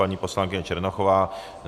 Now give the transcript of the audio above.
Paní poslankyně Černochová?